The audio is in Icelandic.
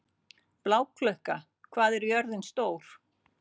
Bláklukka, hvað er jörðin stór?